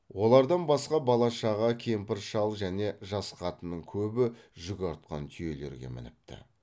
олардан басқа бала шаға кемпір шал және жас қатынның көбі жүк артқан түйелерге мініпті